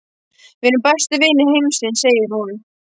Við erum bestu vinir heimsins, segir hún.